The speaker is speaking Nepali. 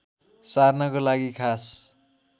सार्नको लागि खास